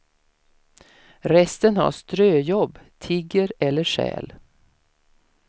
Resten har ströjobb, tigger eller stjäl.